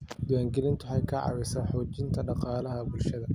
Diiwaangelintu waxay ka caawisaa xoojinta dhaqaalaha bulshada.